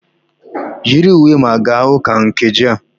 Yiri uwe ma gaa ụka nkeji a!